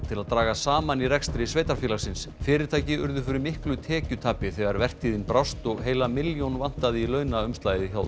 til að draga saman í rekstri sveitarfélagsins fyrirtæki urðu fyrir miklu tekjutapi þegar vertíðin brást og heila milljón vantaði í launaumslagið hjá